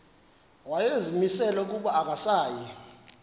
wayezimisele ukuba akasayi